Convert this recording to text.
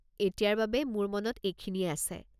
এতিয়াৰ বাবে মোৰ মনত এইখিনিয়েই আছে।